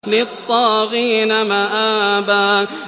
لِّلطَّاغِينَ مَآبًا